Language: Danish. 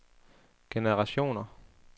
generationer